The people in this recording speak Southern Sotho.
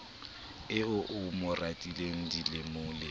eo a mo ratileng dilemolemo